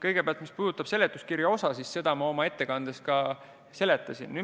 Kõigepealt, mis puudutab seletuskirja, siis seda ma oma ettekandes seletasin.